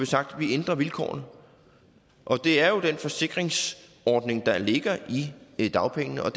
sagt at vi ændrer vilkårene det er jo den forsikringsordning der ligger i i dagpengene og